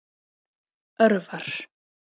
Örvar